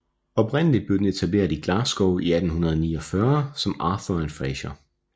Oprindeligt blev den etableret i Glasgow i 1849 som Arthur and Fraser